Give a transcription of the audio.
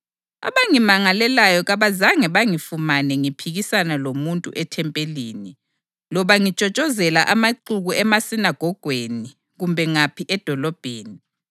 Abangimangalelayo kabazange bangifumane ngiphikisana lomuntu ethempelini, loba ngitshotshozela amaxuku emasinagogweni kumbe ngaphi edolobheni.